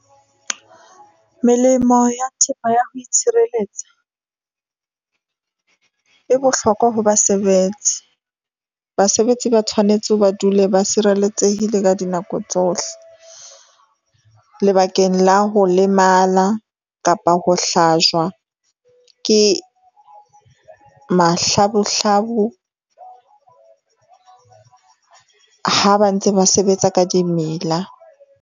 Melemo ya thepa ya ho itshireletsa, e bohlokwa ho basebetsi. Basebetsi ba tshwanetse ho ba dule ba sireletsehile ka dinako tsohle. Lebakeng la ho lemala kapa ho hlajwa ke mahlabuhlabu ha ba ntse ba sebetsa ka dimela.